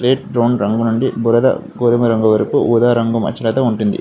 Slate brown రంగు నుండి బురద గోధుమ రంగు వరకు మచ్చలు కలిగి ఉంటుంది.